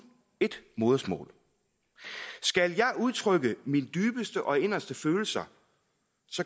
ét modersmål skal jeg udtrykke mine dybeste og inderste følelser